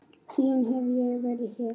Síðan hef ég verið hér.